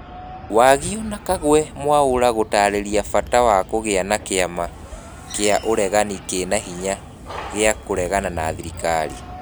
Wagio na Kagwe Mwaura gũtarĩria bata wa kũgĩa na kĩama kia ũregani kina hinya giakũregana na thirikari.